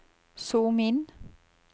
zoom inn